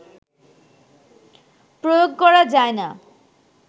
প্রয়োগ করা যায় না